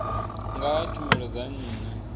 nga ha tshumelo dza nnyi